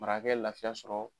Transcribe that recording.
Marakakɛ ye lafiya sɔrɔ